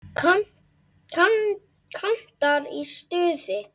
Kantar í stuði.